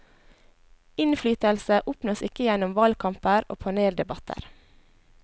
Innflytelse oppnås ikke gjennom valgkamper og paneldebatter.